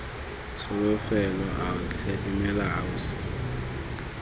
tsholofelo ao tlhe dumela ausi